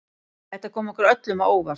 Þetta kom okkur öllum á óvart